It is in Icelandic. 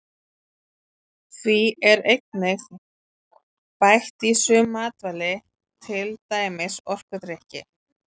Því er einnig bætt í sum matvæli til dæmis orkudrykki.